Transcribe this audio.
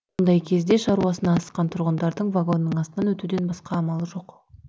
ондай кезде шаруасына асыққан тұрғындардың вагонның астынан өтуден басқа амалы жоқ